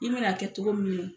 I mɛ n'a kɛ cogo min na.